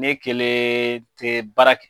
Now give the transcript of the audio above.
Ne kelen tɛ baara kɛ.